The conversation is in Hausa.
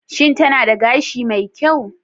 Shin tana da gashi mai kyau?